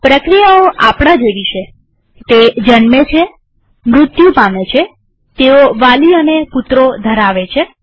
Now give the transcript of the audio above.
પ્રક્રિયાઓ આપણા જેવી છેતે જન્મે છેમૃત્યુ પામે છેતેઓ વાલી અને પુત્રો ધરાવે છે